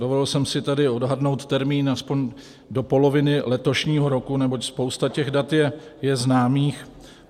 Dovolil jsem si tady odhadnout termín aspoň do poloviny letošního roku, neboť spousta těch dat je známých.